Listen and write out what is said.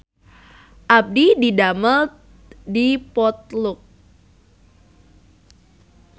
Abdi didamel di Potluck